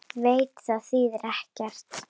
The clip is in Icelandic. Veit að það þýðir ekkert.